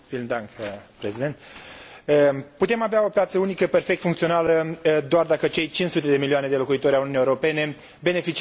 Putem avea o piață unică perfect funcțională doar dacă cei 500 de milioane de locuitori ai Uniunii Europene beneficiază de toate drepturile comunitare.